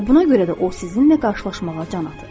Və buna görə də o sizinlə qarşılaşmağa can atır.